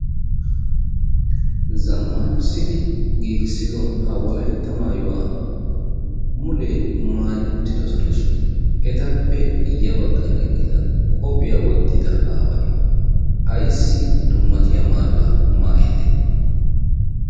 Zammaanissidi giigissido ha wolaytta maayuwa mulee maayi uttidosonashin etappe ya baggan eqqida qophiya wottida aaway ayssi dummatiya maayuwa maayidee.